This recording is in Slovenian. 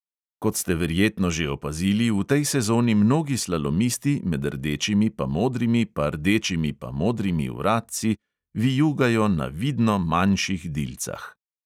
Kot ste verjetno že opazili, v tej sezoni mnogi slalomisti med rdečimi pa modrimi pa rdečimi pa modrimi vratci vijugajo na vidno manjših dilcah.